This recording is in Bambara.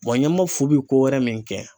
ɲamafu bi kowɛrɛ min kɛ